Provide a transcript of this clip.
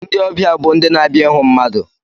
Ndị ọbịa bụ ndị na-abịa ịhụ mmadụ.